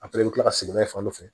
A fɛnɛ bɛ kila ka segin n'a ye fan fɛ